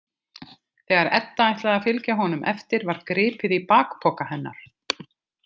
Þegar Edda ætlaði að fylgja honum eftir var gripið í bakpoka hennar.